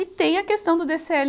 e tem a questão do DêCêÉ